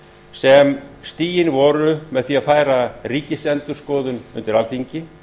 sem stigin voru með því að færa ríkisendurskoðun undir alþingi